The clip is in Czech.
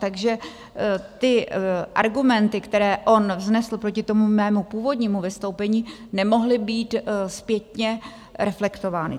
Takže ty argumenty, které on vznesl proti tomu mému původnímu vystoupení, nemohly být zpětně reflektovány.